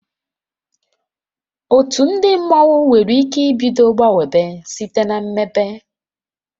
Otu ndị mmọnwu nwere ike ibido gbanwebe site na mmepe